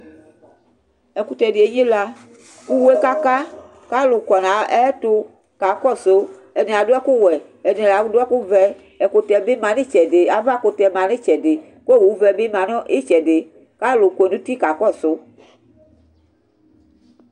ɛkutɛ di enyila k'uwe kaka k'alu kɔ n'ayɛto ka kɔsu ɛdini ado ɛkò wɛ ɛdini ado ɛkò vɛ ɛkutɛ bi ma n'itsɛdi ava kutɛ ma n'itsɛdi k'owu vɛ di bi ma n'itsɛdi k'alo kɔ n'uti kakɔsu